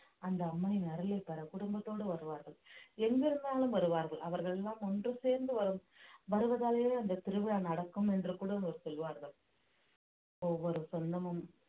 அந்த அம்மனின் அருளை பெற குடும்பத்தோடு வருவார்கள் எங்கிருந்தாலும் வருவார்கள் அவர்கள் எல்லாம் ஒன்று சேர்ந்து வரும் வருவதாலேயே அந்த திருவிழா நடக்கும் என்று கூட அவர் சொல்வார்கள் ஒவ்வொரு சொந்தமும்